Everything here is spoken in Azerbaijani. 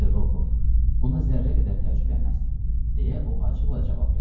Mister Rokov, buna zərrə qədər təəccüblənməzdim, deyə o acıqla cavab verdi.